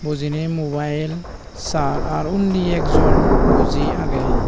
bojinei mubail sar ar undi ekjon buji agey.